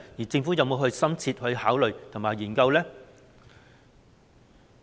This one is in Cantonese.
政府有否深切考慮和研究呢？